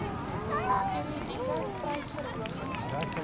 periodieke prysverhogings onderworpe